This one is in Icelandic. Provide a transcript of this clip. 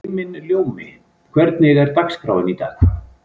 Himinljómi, hvernig er dagskráin í dag?